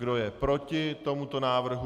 Kdo je proti tomuto návrhu?